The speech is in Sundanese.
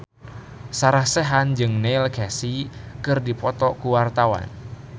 Sarah Sechan jeung Neil Casey keur dipoto ku wartawan